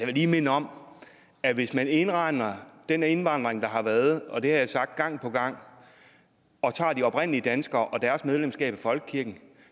lige minde om at hvis man indregner den indvandring der har været og det har jeg sagt gang på gang og tager de oprindelige danskere og deres medlemskab af folkekirken